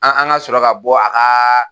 An an ka sɔrɔ ka bɔ a ka